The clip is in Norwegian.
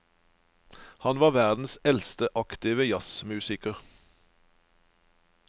Han var verdens eldste aktive jazzmusiker.